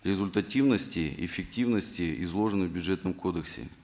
результативности эффективности изложенных в бюджетном кодексе